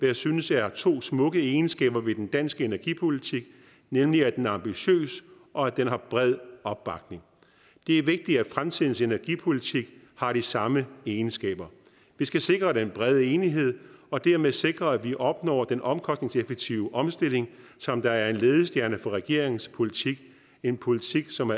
jeg synes er to smukke egenskaber ved den danske energipolitik nemlig at den er ambitiøs og at den har bred opbakning det er vigtigt at fremtidens energipolitik har de samme egenskaber vi skal sikre den brede enighed og dermed sikre at vi opnår den omkostningseffektive omstilling som er en ledestjerne for regeringens politik en politik som